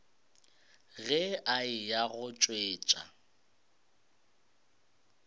ge a eya go tšwetša